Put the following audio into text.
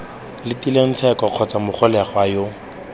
letileng tsheko kgotsa mogolegwa yo